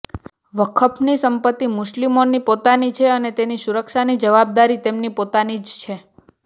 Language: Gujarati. વકફની સંપત્તિ મુસ્લિમોની પોતાની છે અને તેની સુરક્ષાની જવાબદારી તેમની પોતાની જ છે